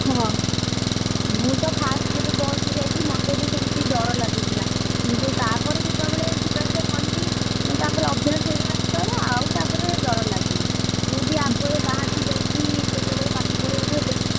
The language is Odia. ହଁ, ମୁଁ ତ first ଯେତବେଳେ ବସ ଯେବେ ବସ ରେ ଯାଇଥିଲି, ମତେ ବି ସେମତି ଡ଼ର ଲାଗୁଥିଲା। କିନ୍ତୁ ତାପରେ ଯେତବେଳେ ଯିବା ଆସିବା କଲି, ମତେ ଅଭ୍ୟାସ ହେଇଗଲା ପରେ ଆଉ ତାପରେ, ଡ଼ର ଲାଗୁନି, ତୁବି ଆମ ଭଳିଆ ବାହାରକୁ ଯାଇକି କେତବେଳେ ପାଠ ପଢିବାକୁ ହେଲେ,